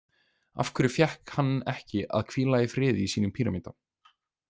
Af hverju fékk hann ekki að hvíla í friði í sínum pýramída?